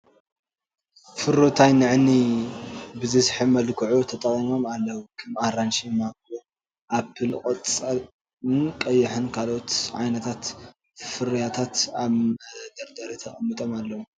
ፍሩታይ ንዓይኒ ብዝስሕብ መልክዑ ተቀሚጦም ኣልዉ ክም ኣራንሺ ፣ማንጎ ፣ኣፕል ቆፃልን ቀይሕ ካልኦት ዓይንት ፍርይታት ኣብ መደርደሪ ተቀሚጦም ኣልዉ ።